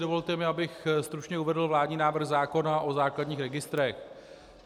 Dovolte mi, abych stručně uvedl vládní návrh zákona o základních registrech.